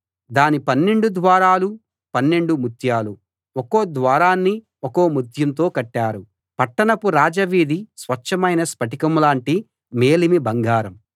దాని పన్నెండు ద్వారాలూ పన్నెండు ముత్యాలు ఒక్కో ద్వారాన్నీ ఒక్కో ముత్యంతో కట్టారు పట్టణపు రాజవీధి స్వచ్ఛమైన స్ఫటికం లాంటి మేలిమి బంగారం